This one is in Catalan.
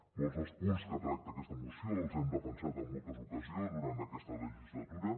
molts dels punts que tracta aquesta moció els hem defensat en moltes ocasions durant aquesta legislatura